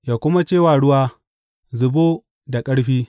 ya kuma ce wa ruwa, Zubo da ƙarfi.’